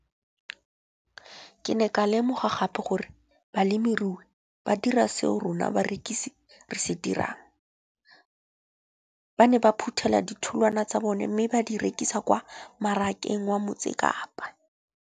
Ke ne ka lemoga gape gore balemirui ba dira seo rona barekisi re se dirang - ba ne ba phuthela ditholwana tsa bona mme ba di rekisa kwa marakeng wa Motsekapa.